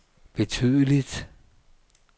betydeligt